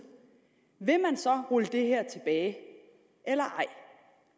vil man så rulle det her tilbage eller